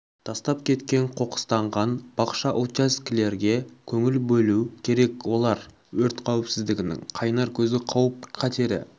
тастап кеткен қоқыстанған бақша участкілерге көңіл болу керек олар өрт қауіпсіздігінің қайнар көзі қауіп қатері